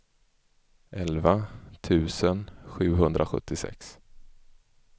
elva tusen sjuhundrasjuttiosex